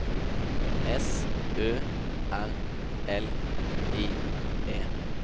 S Ø R L I E